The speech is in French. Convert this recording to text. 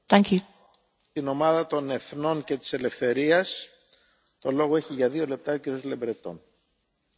Monsieur le Président, le rapport Chrysogonos fait le point sur l'application par les États européens du droit de l'Union en